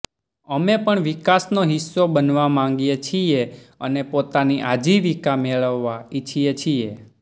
અમે પણ વિકાસનો હિસ્સો બનવા માંગીએ છીએ અને પોતાની આજીવિકા મેળવવા ઈચ્છીએ છીએ